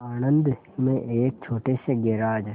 आणंद में एक छोटे से गैराज